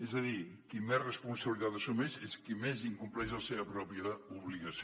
és a dir qui més responsabilitat assumeix és qui més incompleix la seva pròpia obligació